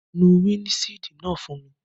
Nu windṣiidi naa fun mi!